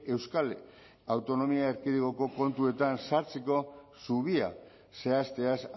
euskal autonomia erkidegoko kontuetan sartzeko zubia zehazteaz